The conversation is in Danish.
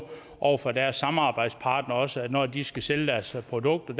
over for deres samarbejdspartnere altså at når de skal sælge deres produkter